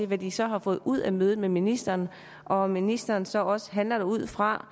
hvad de så har fået ud af mødet med ministeren og om ministeren så også handler ud fra